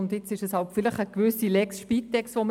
So gesehen behandeln wir hier eine gewisse «Lex Spitex».